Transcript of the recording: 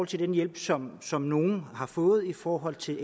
til den hjælp som som nogle har kunnet få i forhold til